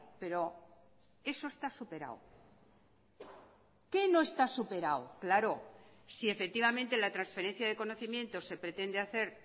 pero eso está superado qué no está superado claro si efectivamente la transferencia de conocimientos se pretende hacer